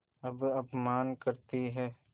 अब अपमान करतीं हैं